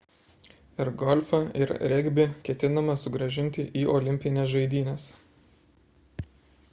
ir golfą ir regbį ketinama sugrąžinti į olimpines žaidynes